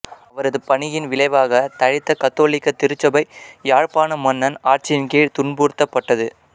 அவரது பணியின் விளைவாகத் தழைத்த கத்தோலிக்க திருச்சபை யாழ்ப்பாண மன்னன் ஆட்சியின் கீழ் துன்புறுத்தப்பட்டது